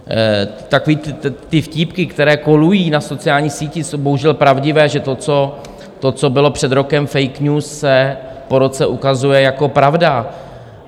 Takové ty vtípky, které kolují na sociálních sítích, jsou bohužel pravdivé, že to, co bylo před rokem fake news, se po roce ukazuje jako pravda.